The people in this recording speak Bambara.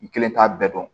N kelen t'a bɛɛ dɔn